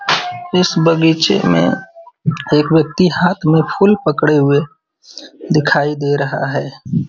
इस बगीचे में एक व्यक्ति हाथ में फूल पकड़े हुए दिखाई दे रहा है।